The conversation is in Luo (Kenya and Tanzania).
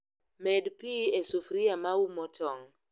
Med pii e sufria maumo tong'